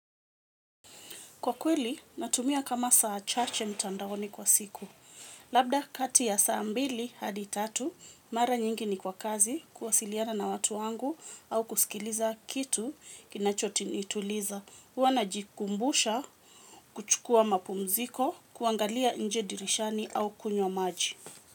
Kwa kweli, natumia kama saa chache mtandaoni kwa siku. Labda kati ya saa mbili hadi tatu, mara nyingi niko kazi kuwasiliana na watu wangu au kusikiliza kitu kinachonituliza. Huwa na jikumbusha kuchukua mapumziko kuangalia nje dirishani au kunywa maji.